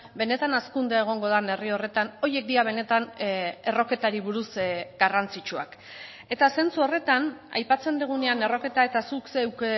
benetan hazkundea egongo den herri horretan horiek dira benetan erroketari buruz garrantzitsuak eta zentzu horretan aipatzen dugunean erroketa eta zuk zeuk